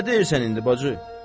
Nə deyirsən indi, bacı?